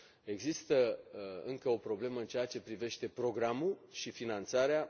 Există încă o problemă în ceea ce privește programul și finanțarea.